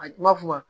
A ma f'o ma